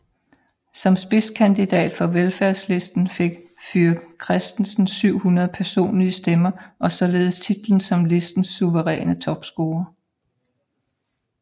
Som spidskandidat for Velfærdslisten fik Fuhr Christensen 700 personlige stemmer og således titlen som listens suveræne topscorer